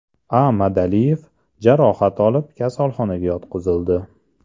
A.Madaliyev jarohat olib, kasalxonaga yotqizildi.